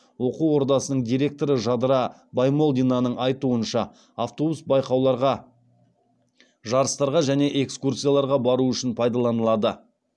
оқу ордасының директоры жадыра баймолдинаның айтуынша автобус байқауларға жарыстарға және экскурсияларға бару үшін пайдаланылады